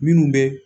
Minnu bɛ